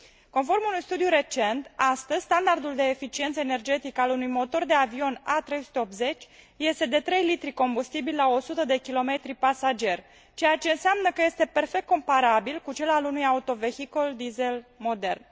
Conform unui studiu recent, astăzi, standardul de eficiență energetică al unui motor de avion A380 este de 3 litri combustibil la 100 de kilometri pasager, ceea ce înseamnă că este perfect comparabil cu cel al unui autovehicul diesel modern.